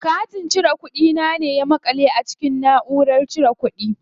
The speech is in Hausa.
Katin cire kuɗi na ne ya maƙale a cikin naʼurar cire kuɗi.